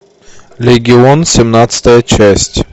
легион семнадцатая часть